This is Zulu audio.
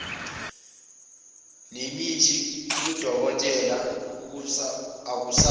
nemithi kadokotela akusathi